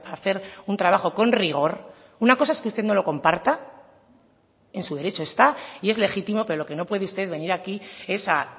hacer un trabajo con rigor una cosa es que usted no lo comparta en su derecho está y es legítimo pero lo que no puede usted venir aquí es a